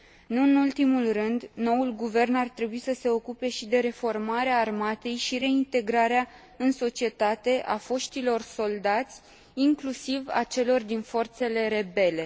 Nu în ultimul rând, noul guvern ar trebui să se ocupe și de reformarea armatei și reintegrarea în societate a foștilor soldați, inclusiv a celor din forțele rebele.